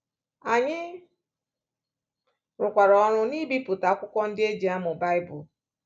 Anyị rụkwara ọrụ n’ibipụta akwụkwọ ndị e ji amụ Baịbụl.